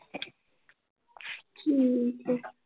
ਠੀਕ ਏ l